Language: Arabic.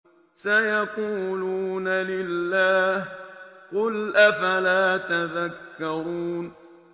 سَيَقُولُونَ لِلَّهِ ۚ قُلْ أَفَلَا تَذَكَّرُونَ